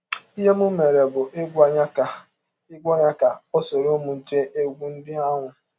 Ihe m mere bụ ịgwa ya ka ịgwa ya ka ọ sọrọ m gee egwụ ndị ahụ.